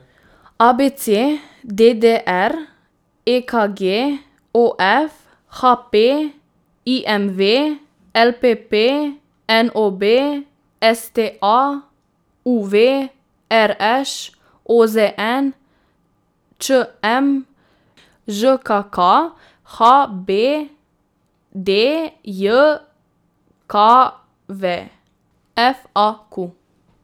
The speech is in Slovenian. A B C; D D R; E K G; O F; H P; I M V; L P P; N O B; S T A; U V; R Š; O Z N; Č M; Ž K K; H B D J K V; F A Q.